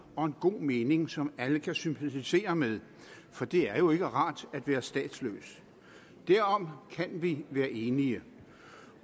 og en god mening som alle kan sympatisere med for det er jo ikke rart at være statsløs derom kan vi være enige